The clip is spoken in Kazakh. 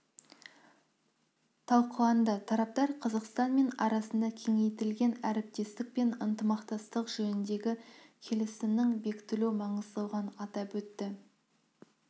талқыланды тараптар қазақстан мен арасында кеңейтілген әріптестік және ынтымақтастық жөніндегі келісімінің бекітілу маңыздылығын атап өтті